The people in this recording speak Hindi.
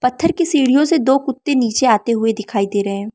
पत्थर की सीढ़ियो से दो कुत्ते नीचे आते हुए दिखाई दे रहे हैं।